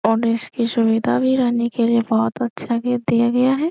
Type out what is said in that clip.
और इसकी सुविधा भी रहने के लिए बहुत अच्छा गेट दिया गया है।